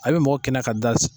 A bi mɔgɔ kɛnɛya ka da